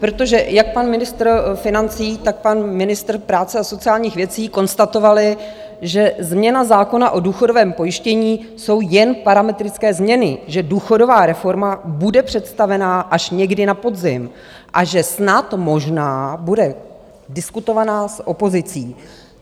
Protože jak pan ministr financí, tak pan ministr práce a sociálních věcí konstatovali, že změna zákona o důchodovém pojištění jsou jen parametrické změny, že důchodová reforma bude představená až někdy na podzim a že snad, možná bude diskutovaná s opozicí.